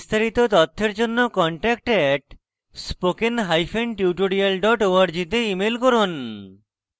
বিস্তারিত তথ্যের জন্য contact @spokentutorial org তে ইমেল করুন